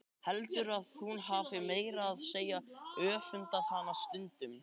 Heldur að hún hafi meira að segja öfundað hana stundum.